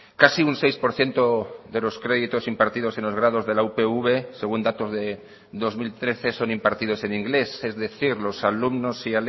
casi un seis por ciento de los créditos impartidos en los grados de la upv según datos de dos mil trece son impartidos en inglés es decir los alumnos y